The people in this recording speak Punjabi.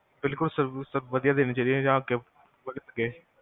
ਬਿਲਕੁਲ sir, ਵਦੀਆਂ ਦੇਣੀ ਚਾਹੀਦੀ ਹੈ